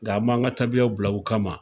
Nga an m'an ka taabiyaw bila u kama,